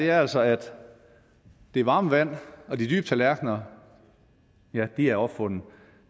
er altså at det varme vand og de dybe tallerkener er opfundet